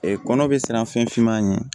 kɔnɔ bɛ siran fɛn finman ɲɛ